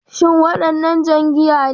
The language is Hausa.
Shin wannan jan giya ne?